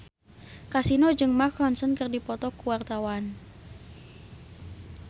Kasino jeung Mark Ronson keur dipoto ku wartawan